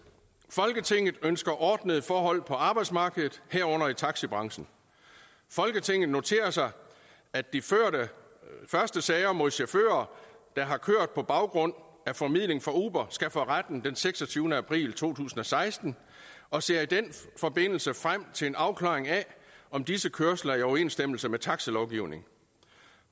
folketinget ønsker ordnede forhold på arbejdsmarkedet herunder i taxibranchen folketinget noterer sig at de første sager mod chauffører der har kørt på baggrund af formidling fra uber skal for retten den seksogtyvende april to tusind og seksten og ser i den forbindelse frem til en afklaring af om disse kørsler er i overensstemmelse med taxilovgivningen